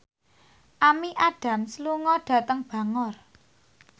Amy Adams lunga dhateng Bangor